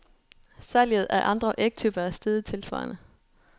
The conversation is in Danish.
Salget af andre ægtyper er steget tilsvarende.